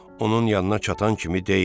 Onun yanına çatan kimi deyin: